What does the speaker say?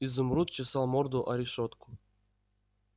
изумруд чесал морду о решётку